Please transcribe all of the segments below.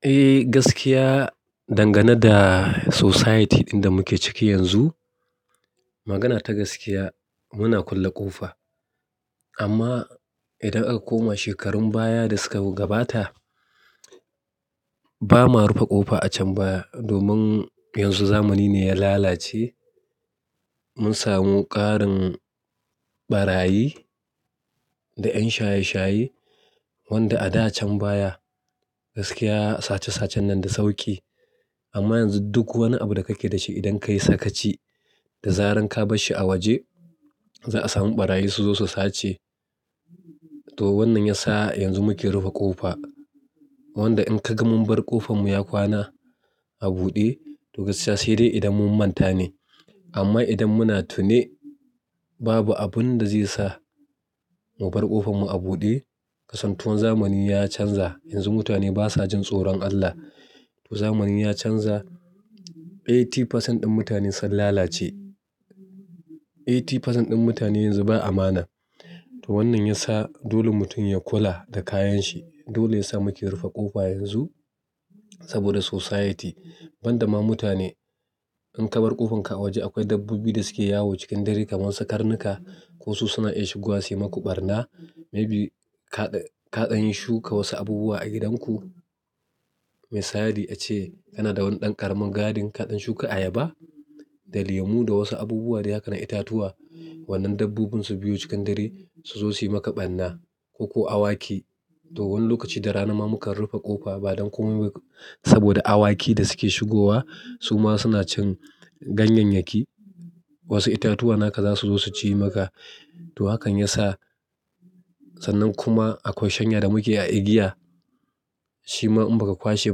Eh, gaskiya dangane da society ɗin da muke ciki yanzu, magana ta gaskiya muna kulle ƙofa. Amma idan aka koma shekarun baya da suka gabata, ba ma rufe ƙofa a can baya domin yanzu zamani ne ya lalace. Mun samu ƙarin ɓarayi da 'yan shaye-shaye wanda a dacan baya gaskiya sace-sacen nan da sauƙi. Amma yanzu duk wani abu da kake da shi idan ka yi sakaci da zarar ka bar shi a waje za a samu barayi suzo su sace to wannan ya sa yanzu muke rufe ƙofa. Wanda in ka ga mun bar ƙofar mu ya kwana a buɗe, to gaskiya se de idan mun manta ne. Amma idan muna tune babu abin da zai sa mu bar ƙofar mu a buɗe. Kasantuwar zamani ya canza. Yanzu mutane basa jin tsoron Allah. To zamani ya canza. Eighty percent ɗin mutane sun lalace. Eighty percent ɗin mutane yanzu ba amana. To wannan ya sa dole mutum ya kula da kayan shi. Dole ya sa muke rufe ƙofa yanzu saboda society. Banda ma mutane in ka bar ƙofarka a waje akwai dabbobi da suke yawo cikin dare kamar su karnuka ko su suna iya shigowa su yi maka ɓarna. Maybe kaɗan kaɗan yin shuka wasu abubuwa a gidanku. Misali ace kana da wani ɗan ƙaramin garden kaɗan shuka ayaba da lemu da wasu abubuwa dai haka na itatuwa. Wannan dabbobin su biyo cikin dare su zo su yi maka ɓarna ko, ko awaki. To wani lokaci da rana ma mukan rufe ƙofa ba don komai ba saboda awaki da suke shigowa su ma suna cin ganyayyaki. Wasu itatuwa naka za su zo su ci maka. To hakan ya sa sannan kuma akwai shanya da muke a igiya shima in baka kwashe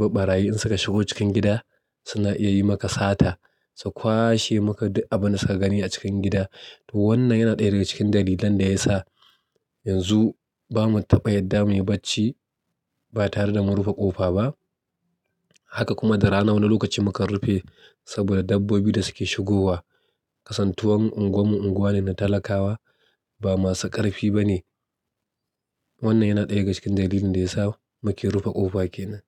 ba ɓarayi in suka shigo cikin gida suna iya yi maka sata. Su kwashe maka duk abunda suka gani a cikin gida. To wannan yana ɗaya daga cikin dalilan da ya sa yanzu ba mu taba yarda muyi bacci ba tare da mun rufe ƙofa ba. Haka kuma da rana wani lokaci mukan rufe saboda dabbobi da suke shigowa. Kasan tuwan unguwar mu unguwa ne na talakawa ba masu ƙarfi bane. Wannan yana ɗaya daga cikin dalilin da ya sa muke rufe ƙofa kenan.